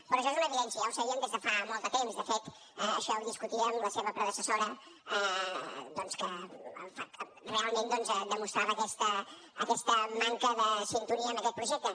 però això és una evidència ja ho sabíem des de fa molt de temps de fet això ja ho discutia amb la seva predecessora doncs que realment demostrava aquesta manca de sintonia amb aquest projecte